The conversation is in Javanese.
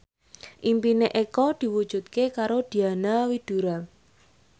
impine Eko diwujudke karo Diana Widoera